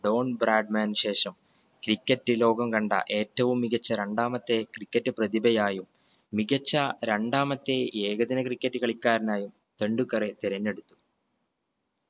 John ബ്രാഡ്മാനു ശേഷം cricket ലോകം കണ്ട ഏറ്റവും മികച്ച രണ്ടാമത്തെ cricket പ്രതിഭയായും മികച്ച രണ്ടാമത്തെ ഏകദിന cricket കളിക്കാരനായും ടെണ്ടുൽക്കറെ തിരഞ്ഞെടുത്തു